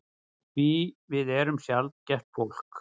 Því við erum sjaldgæft fólk.